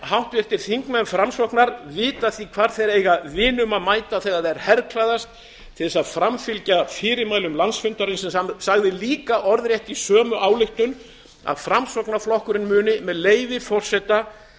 háttvirtir þingmenn framsóknar vita því hvar þeir eiga vinum að mæta þegar þeir herklæðast til að framfylgja fyrirmælum landsfundarins sem sagði líka orðrétt í sömu ályktun að framsóknarflokkurinn muni með leyfi forseta